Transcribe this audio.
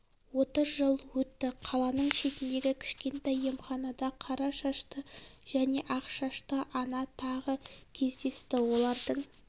отыз жыл өтті қаланың шетіндегі кішкентай емханада қара шашты және ақ шашты ана тағы кездесті олардың